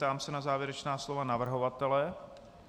Ptám se na závěrečná slova navrhovatele.